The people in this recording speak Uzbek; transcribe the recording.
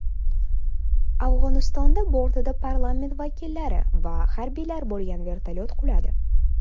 Afg‘onistonda bortida parlament vakillari va harbiylar bo‘lgan vertolyot quladi.